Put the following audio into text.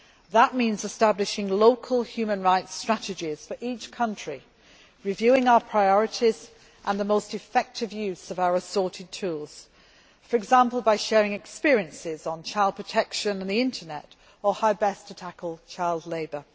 That means establishing local human rights strategies for each country, reviewing our priorities and the most effective use of our assorted tools, for example by sharing experiences on child protection on the Internet or how best to tackle child labour.